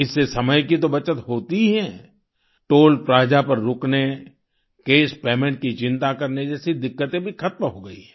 इससे समय की तो बचत होती ही है टॉल प्लाजा पर रुकने कैश पेमेंट की चिंता करने जैसी दिक्कतें भी खत्म हो गई हैं